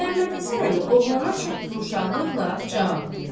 Məmmədhəsən əmi oğlana çox yumşaqlıqla cavab verdi: